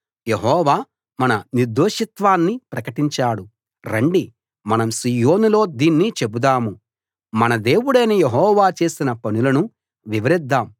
యెహోవా మన నిర్దోషిత్వాన్ని ప్రకటించాడు రండి మనం సీయోనులో దీన్ని చెపుదాం మన దేవుడైన యెహోవా చేసిన పనులను వివరిద్దాం